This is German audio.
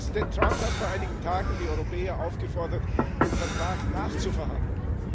Präsident Trump hat vor einigen Tagen die Europäer aufgefordert, den Vertrag nachzuverhandeln.